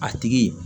A tigi